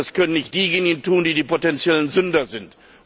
Das können nicht diejenigen tun, die die potenziellen Sünder sind.